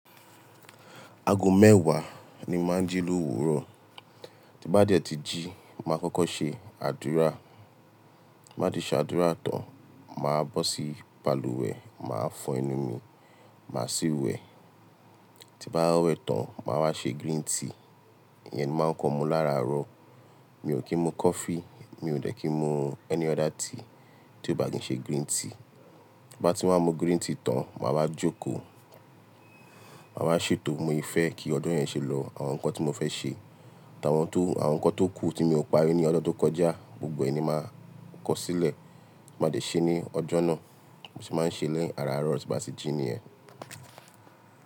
Aago mẹ́wàá ni máa ń jí lówuro. Ti mo bá dẹ̀ ti jí, màá kọ́kọ́ ṣe àdúrà. Bí màá ti ṣe àdúrà tán, màá bọ́ sí balùwẹ̀, màá fọ ẹnu mi, màá sì wẹ̀. Ti bá wẹ̀ tán, màá wá ṣe griin tea. Iyẹn ni máa ń kọ mú láràárọ̀. Mi ò kí ń mu coffee, mi ò dẹ́ kí ń mu tea miran tí ò bá kí ń ṣe griin tea. Bí màá ti wá mú griin tea tán, màá wá jókòó, màá wá ṣètò. Bi Mo sé fẹ́ kí ọjọ́ yẹn ṣe lọ, àwọn nǹkan tí mo fẹ́ ṣe, àwọn nǹkan tó kú tí mi ò parí ní ọjọ́ tó kọjá, gbogbo ẹ̀ní máa kọ̀ sílẹ̀. Mó lé ṣe ní ọjọ́ náà bí mo ṣe máa ń ṣe ní ara àárọ̀ tí bàá ṣe jí nìyẹn.